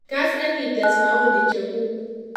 Kaas ak ii tees maoni cheguuk